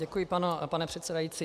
Děkuji, pane předsedající.